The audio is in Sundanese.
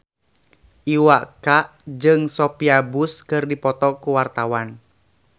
Iwa K jeung Sophia Bush keur dipoto ku wartawan